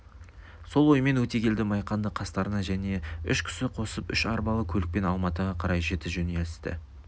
сол оймен өтегелді майқанды қастарына және үш кісі қосып үш арбалы көлікпен алматыға қарай жіті жөнелтісті